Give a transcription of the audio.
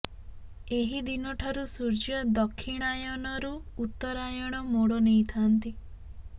ଏହି ଦିନ ଠାରୁ ସୂର୍ଯ୍ୟ ଦକ୍ଷିଣାୟନରୁ ଉତ୍ତରାୟଣ ମୋଡ଼ ନେଇଥାନ୍ତି